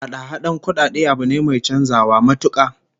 Hada-hadan kudade abu ne mai chanzawa matuka